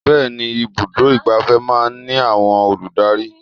Bẹẹni, ibùdó igbàfẹ́ máa ń ní àwọn olùdarí.